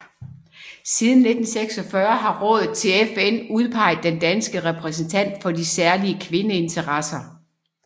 Siden 1946 har rådet til FN udpeget den danske repræsentant for de særlige kvindeinteresser